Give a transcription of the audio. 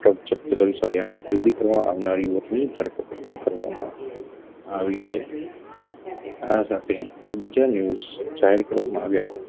જપત કરી સળીયાને ખરીદી કરવા આવનાર યુવકની ધરપકડ પણ કરવામાં આવી છે આ સાથે બીજા news જાહેર કરવામાં આવ્યા